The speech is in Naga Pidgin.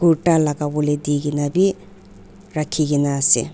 kurta laga polae dikina bi rakikina asae.